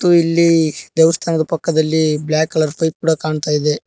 ಹಾಗು ಇಲ್ಲಿ ದೇವಸ್ಥಾನದ ಪಕ್ಕದಲ್ಲಿ ಬ್ಲಾಕ್ ಕಲರ್ ಪೈಪ್ ಕೊಡ ಕಾಣ್ತಾ ಇದೆ.